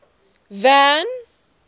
van